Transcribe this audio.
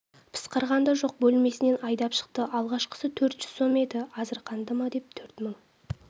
пысқырған да жоқ бөлмесінен айдап шықты алғашқысы төрт жүз сом еді азырқанды ма деп төрт мың